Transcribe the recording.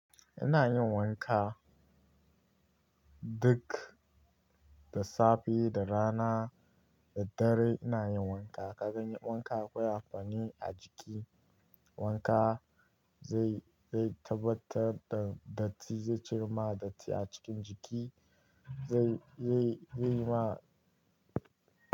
Ina yin wanka duk da safe, da rana, da dare ina yin wanka. Ka gani wanka akwai hafanin a jiki. Wanka zai, zai tabbatar da datti, zai cire ma datti a cikin jiki, zai, zai, zai ma.